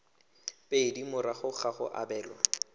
pedi morago ga go abelwa